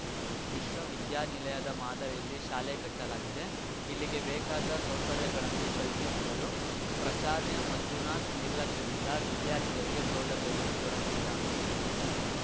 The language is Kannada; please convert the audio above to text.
ವಿಶ್ವ ವಿದ್ಯಾನಿಲಯದ ಮಾದರಿಯಲ್ಲಿ ಶಾಲೆ ಕಟ್ಟಲಾಗಿದೆ ಇಲ್ಲಿಗೆ ಬೇಕಾದ ಸೌಕರ್ಯಗಳನ್ನು ಕಲ್ಪಿಸಿದರೂ ಪ್ರಾಚಾರ್ಯ ಮಂಜುನಾಥ ನಿರ್ಲಕ್ಷ್ಯದಿಂದ ವಿದ್ಯಾರ್ಥಿಗಳಿಗೆ ಸೌಲಭ್ಯಗಳು ದೊರಕಿಲ್ಲ